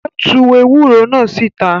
Ó tu ewúro náà síta.